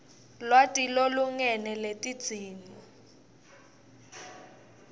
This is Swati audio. lwati lolulingene lwetidzingo